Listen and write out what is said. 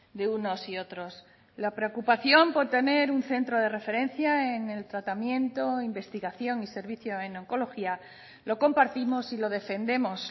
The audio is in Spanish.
de unos y otros la preocupación por tener un centro de referencia en el tratamiento investigación y servicio en oncología lo compartimos y lo defendemos